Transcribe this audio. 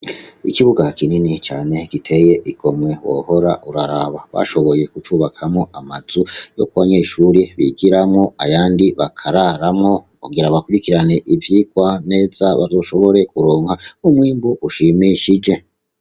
Ikibuga kinini cane giteye igomwe wohora uraraba, bashoboye kucubakamwo amazu yuko abanyeshure bigiramwo ayandi bakararamwo kugirango bakwirikirane ivyigwa neza bazoshobore kuronka umwimbu ushimishije.